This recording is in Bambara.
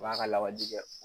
U b'a ka la waji kɛ